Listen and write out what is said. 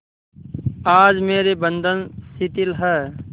आज मेरे बंधन शिथिल हैं